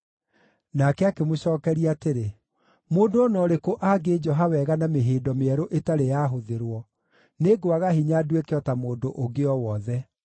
Nake akĩmũcookeria atĩrĩ, “Mũndũ o na ũrĩkũ angĩnjoha wega na mĩhĩndo mĩerũ ĩtarĩ yahũthĩrwo, nĩngwaga hinya nduĩke o ta mũndũ ũngĩ o wothe.”